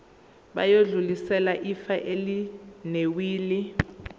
bayodlulisela ifa elinewili